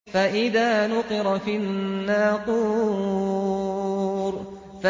فَإِذَا نُقِرَ فِي النَّاقُورِ